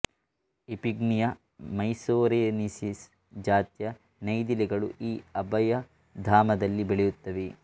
ಇಫಿಗ್ನಿಯ ಮೈಸೊರೆನಿಸಿಸ್ ಜಾತಿಯ ನೈದಿಲೆ ಗಳೂ ಈ ಅಭಯಧಾಮದಲ್ಲಿ ಬೆಳೆಯುತ್ತವೆ